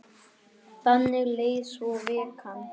Þannig leið svo vikan.